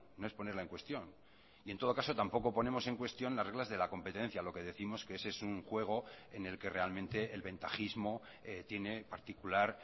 no es ponerla en cuestión y en todo caso tampoco ponemos en cuestión las reglas de la competencia lo que décimos que ese es un juego en el que realmente el ventajismo tiene particular